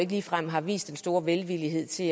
ligefrem har vist den store velvillighed til